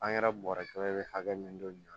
An yɛrɛ bɔrɛ bɛ hakɛ min don nin